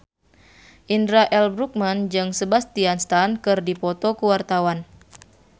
Indra L. Bruggman jeung Sebastian Stan keur dipoto ku wartawan